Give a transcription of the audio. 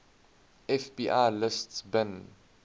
fbi lists bin